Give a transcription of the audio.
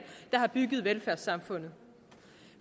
der har bygget velfærdssamfundet